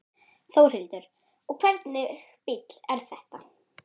Þórhildur: Og hvernig bíll er þetta?